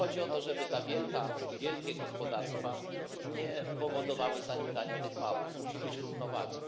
Chodzi o to, żeby te wielkie gospodarstwa nie powodowały zanikania tych małych, musi być równowaga.